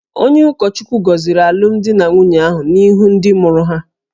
Onye ụkọchukwu goziri alumdi na nwunye ahụ n'ihu ndị mụrụ ha